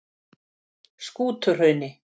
Skútuhrauni